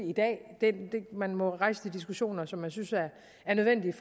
i dag man må rejse de diskussioner som man synes er nødvendige